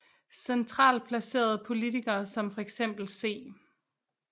Centralt placerede politikere som fx C